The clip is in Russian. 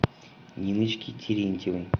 ниночке терентьевой